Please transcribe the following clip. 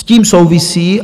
S tím souvisí...